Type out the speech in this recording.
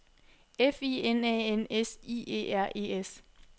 F I N A N S I E R E S